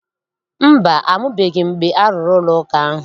Mba, amụbeghị m mgbe a rụrụ ụlọụka ahụ.